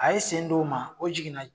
A ye sen dɔw ma o jiginna